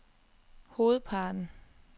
hovedparten